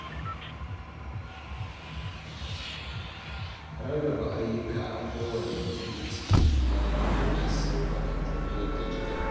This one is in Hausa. Rarraba ayyuka ga kowane mutum a cikin iyali yana sauƙaƙa tafiyar da gida.